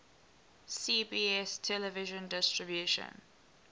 cbs television distribution